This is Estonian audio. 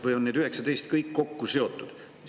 Või on need 19 kõik kokku seotud?